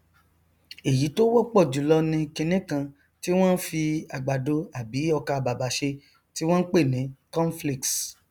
èyí tó wọpọ jùlọ ni kiní kan tí wọn fi àgbàdo àbí ọkàbàbà ṣe tí wọn n pè ni cornflakes